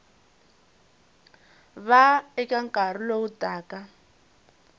va eka nkarhi lowu taka